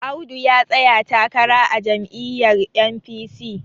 Audu ya tsaya takara a jami'yar N.P..c